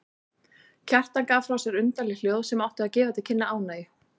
Kjartan gaf frá sér undarleg hljóð sem áttu að gefa til kynna ánægju.